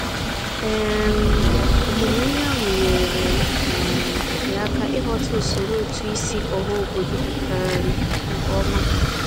um Ọmụmụ ihe ahụ nyeere um ya aka ịghọta usoro ụtụisi ọhaobodo um nkeọma.